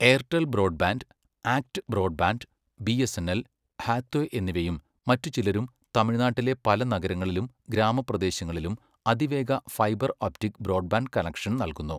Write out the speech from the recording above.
Airtel broadband, ACT broadband, BSNL, Hathway എന്നിവയും മറ്റു ചിലരും തമിഴ്നാട്ടിലെ പല നഗരങ്ങളിലും ഗ്രാമപ്രദേശങ്ങളിലും അതിവേഗ ഫൈബർ ഒപ്റ്റിക് ബ്രോഡ്ബാൻഡ് കണക്ഷൻ നൽകുന്നു.